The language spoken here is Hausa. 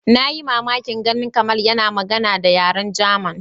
Na yi mamakin ganin Kamal yana magana da yaren German.